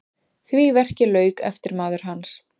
Því verki lauk eftirmaður hans